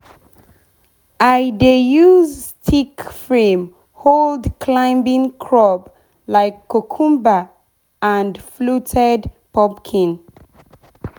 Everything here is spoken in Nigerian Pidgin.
i dey use stick frame hold climbing crop like cucumber and fluted pumpkin.